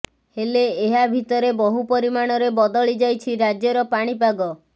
ହେଲେ ଏହା ଭିତରେ ବହୁ ପରିମାଣରେ ବଦଳିଯାଇଛି ରାଜ୍ୟର ପାଣିପାଗ